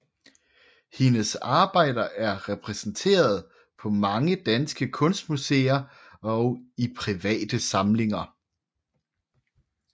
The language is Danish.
Hendes arbejder er repræsenteret på mange danske kunstmuseer og i private samlinger